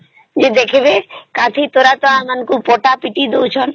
ଯେ ଦେଖିବେ କାଠି ଦ୍ୱାରା ତା ଆମକୁ ପଟ ପିଟି ଦଉଛନ